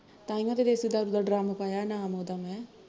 ਤਾਂਹੀਂਓ ਤੇ ਦੇਸੀ ਦਾਰੂ ਦਾ ਡ੍ਰਮ ਪਾਇਆ ਐ ਨਾਮ ਉਹਦਾ ਮੈਂ